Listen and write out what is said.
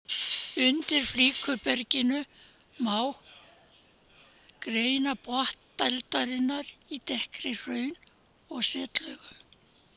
Undir flikruberginu má greina botn dældarinnar í dekkri hraun- og setlögum.